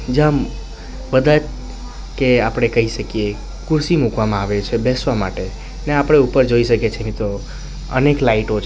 જામ બધાય કે આપણે કહી શકીએ ખુરશી મુકવામાં આવે છે બેસવા માટે અને આપણે ઉપર જોઈ શકે છે મિત્રો અનેક લાઈટો છે.